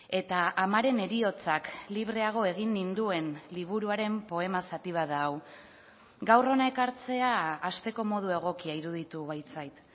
eta amaren heriotzak libreago egin ninduen liburuaren poema zati bat da hau gaur hona ekartzea hasteko modu egokia iruditu baitzait